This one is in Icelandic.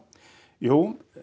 jú